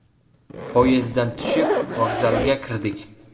Poyezddan tushib, vokzalga kirdik.